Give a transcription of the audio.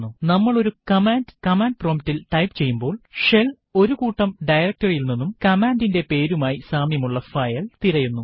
നമ്മൾ ഒരു command command promptൽ ടൈപ്പ് ചെയ്യുമ്പോൾ ഷെൽ ഒരു കൂട്ടം directory യിൽ നിന്നും കമ്മാൻഡിന്റെ പേരുമായി സാമ്യമുള്ള ഫയൽ തിരയുന്നു